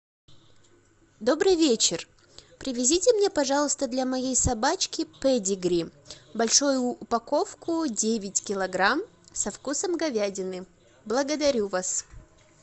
добрый вечер привезите мне пожалуйста для моей собачки педигри большую упаковку девять килограмм со вкусом говядины благодарю вас